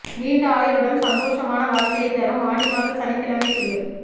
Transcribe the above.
நீண்ட ஆயுளுடன் சந்தோஷமான வாழ்க்கையை தரும் ஆடிமாத சனிக்கிழமை குளியல்